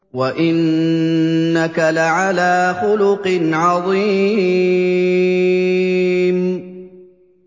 وَإِنَّكَ لَعَلَىٰ خُلُقٍ عَظِيمٍ